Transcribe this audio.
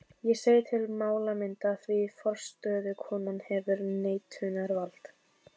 Ég segi til málamynda, því forstöðukonan hefur neitunarvald.